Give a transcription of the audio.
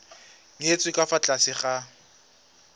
nyetswe ka fa tlase ga